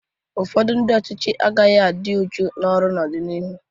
Ụfọdụ ndị ọchịchị agaghị adị uchu n'ọrụ n'ọdịnihu.